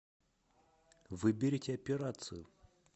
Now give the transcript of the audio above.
выберите операцию